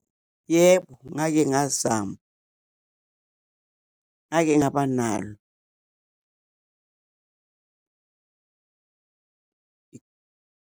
Yebo, ngake ngazama, ngake ngaba nalo.